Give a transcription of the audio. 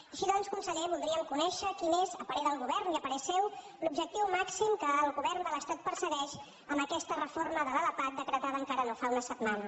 així doncs conseller voldríem conèixer quin és a parer del govern i a parer seu l’objectiu màxim que el govern de l’estat persegueix amb aquesta reforma de l’lpap decretada encara no fa una setmana